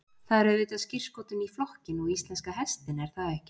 Það er auðvitað skírskotun í flokkinn og íslenska hestinn er það ekki?